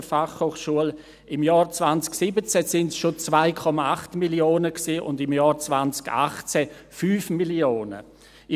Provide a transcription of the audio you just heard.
Im Jahr 2017 waren es schon 2,8 Mio. Franken, und im Jahr 2018 5 Mio. Franken.